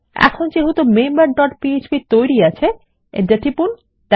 এখন যেহেতু member dot PHP তৈরী আছে Enter টিপুন